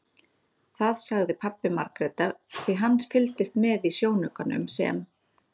Það sagði pabbi Margrétar því hann fylgdist með í sjónaukanum sem